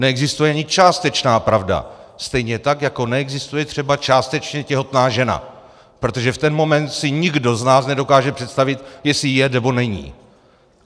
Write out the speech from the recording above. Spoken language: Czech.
Neexistuje ani částečná pravda, stejně tak jako neexistuje třeba částečně těhotná žena, protože v ten moment si nikdo z nás nedokáže představit, jestli je, nebo není.